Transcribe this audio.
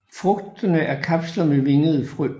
Frugterne er kapsler med vingede frø